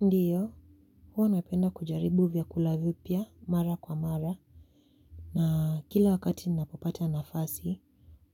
Ndiyo, huwa napenda kujaribu vyakula vipia mara kwa mara, na kila wakati napopata nafasi,